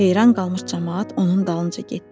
Heyran qalmış camaat onun dalınca getdi.